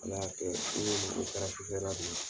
Ala y'a kɛ sufɛ la